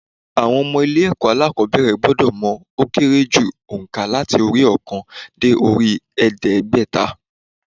Àwọn ọmọ ilé ẹ̀kọ́ alákòóbẹ̀rẹ̀ gbọ́dọ̀ mọ ó kéré jù ònkà láti orí i óòkan dé orí i èédégbèta